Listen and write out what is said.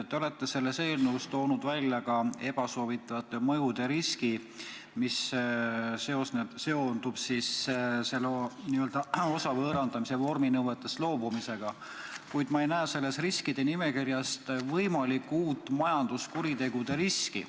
Te olete selles eelnõus toonud välja ka ebasoovitavate mõjude riski, mis seondub osa võõrandamise vorminõuetest loobumisega, kuid ma ei näe selles riskide nimekirjas võimalikku uut majanduskuritegude riski.